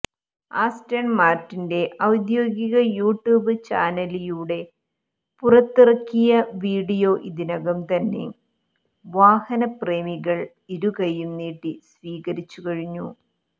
Aston മാർട്ടിന്റെ ഔദ്യോഗിക YouTube ചാനലിയൂടെ പുറത്തിറക്കിയ വിഡിയോ ഇതിനകം തന്നെ വാഹനപ്രേമികൾ ഇരുകൈയ്യും നീട്ടി സ്വീകരിച്ചുകഴിഞ്ഞു